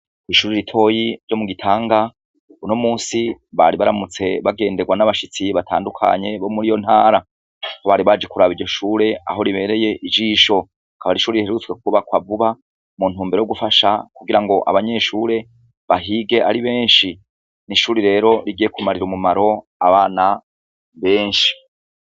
Ishure ritoya ryo mu Gitanga uno munsi bari baramutse bagenderwa nabashitsi batandukanye bo muriyo ntara, aho bari baje kuraba iryo shure aho ribereye ijisho akaba ari ishure riherutswe kubakwa vuba mu ntumbero yo gufasha kugirango abanyeshure bahige ari benshi, nishure rero rigiye kugira kumarira umumaro abana benshi.